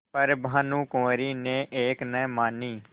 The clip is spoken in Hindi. पर भानुकुँवरि ने एक न मानी